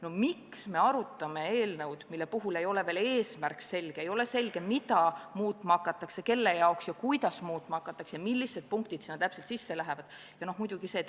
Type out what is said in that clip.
No miks me arutame eelnõu, mille puhul ei ole eesmärk selge, ei ole selge, mida muutma hakatakse, kelle jaoks ja kuidas muutma hakatakse ja millised punktid täpselt sisse lähevad?